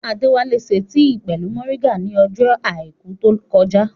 Adéwálá ṣe tì pẹ̀lú mọ̀ríngà ní ọjọ́ àìkú tó kọjá